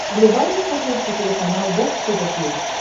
врубай на смотрешке телеканал бокс тв плюс